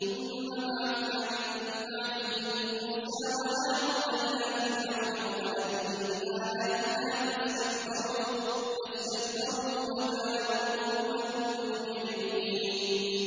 ثُمَّ بَعَثْنَا مِن بَعْدِهِم مُّوسَىٰ وَهَارُونَ إِلَىٰ فِرْعَوْنَ وَمَلَئِهِ بِآيَاتِنَا فَاسْتَكْبَرُوا وَكَانُوا قَوْمًا مُّجْرِمِينَ